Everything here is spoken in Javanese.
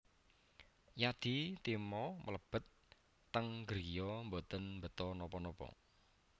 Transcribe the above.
Yadi Timo mlebet teng griya mboten beta napa napa